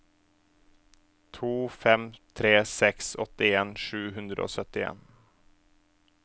to fem tre seks åttien sju hundre og syttien